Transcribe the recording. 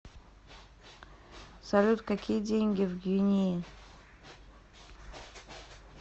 салют какие деньги в гвинее